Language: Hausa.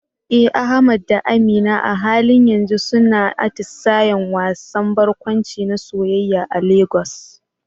Eh Ahmad da Amina a halin yanzu suna atisayen wasan barkwanci na soyayya a Lagos.